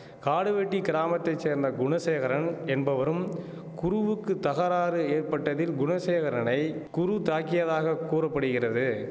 காடுவெட்டி கிராமத்தை சேர்ந்த குணசேகரன் என்பவரும் குருவுக்கு தகராறு ஏற்பட்டதில் குணசேகரனை குரு தாக்கியதாக கூற படுகிறது